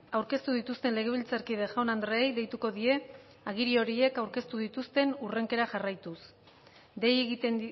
aurkeztu dituzten legebiltzarkide jaun andreei deituko die agiri horiek aurkeztu dituzten hurrenkera jarraituz dei egiten